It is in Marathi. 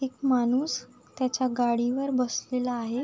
एक माणूस त्याच्या गाडीवर बसलेला आहे.